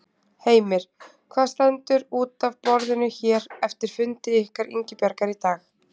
Heimir: Hvað stendur út af borðinu hér eftir fundi ykkar Ingibjargar í dag?